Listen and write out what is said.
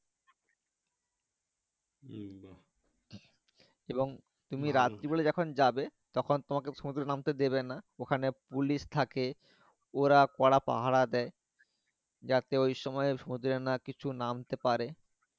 এবং তুমি রাত্রি বেলায় যখন যাবে তখন তোমাকে সমুদ্রে নামতে দিবে না ওখানে পুলিশ থাকে ওরা কড়া পাহারা দেয় যাতে ঐ সময় সমুদ্র না কিছু নামতে পারে